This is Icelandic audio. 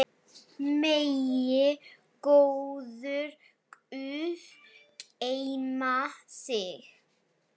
Dags hríðar spor svíða.